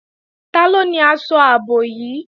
Taló ni aṣọ ààbò yìí?